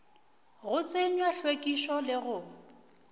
go tsenywa hlwekišo le go